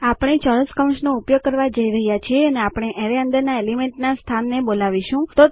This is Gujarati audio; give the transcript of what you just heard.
આપણે ચોરસ કૌંસનો ઉપયોગ કરવા જઈ રહ્યાં છીએ અને આપણે એરેય અંદરના એલિમેન્ટના સ્થાનને બોલાવીશું